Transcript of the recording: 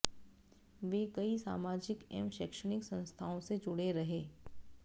वे कई सामाजिक एवं शैक्षणिक संस्थाओं से जुड़े रहे